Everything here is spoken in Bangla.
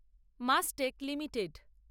Mastech limited